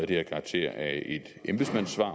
det her karakter af et embedsmandssvar